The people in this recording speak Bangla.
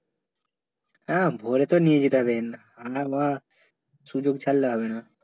হ্যাঁ ভরে তো নিয়ে যেতে হবে আনা ভর সুযোগ ছাড়লে হবে না